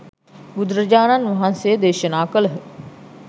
බුදුරාජාණන් වහන්සේ දේශනා කළහ.